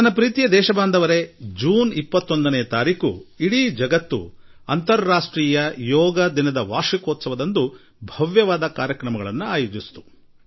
ನನ್ನ ಆತ್ಮೀಯ ದೇಶವಾಸಿಗಳೇ ಕೆಲವು ದಿನಗಳ ಹಿಂದೆ ಜೂನ್ 21ರಂದು ಇಡೀ ವಿಶ್ವವೇ ಅಂತಾರಾಷ್ಟ್ರೀಯ ಯೋಗ ದಿನದ 2ನೇ ವಾರ್ಷಿಕೋತ್ಸವದ ಭವ್ಯ ಪ್ರದರ್ಶನ ಆಯೋಜಿಸಿತ್ತು